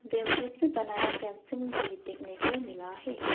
Bamboo से बनाया fencing भी देखने को मिला है।